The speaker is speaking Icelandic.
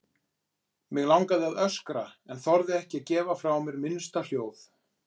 Mig langaði að öskra en þorði ekki að gefa frá mér minnsta hljóð.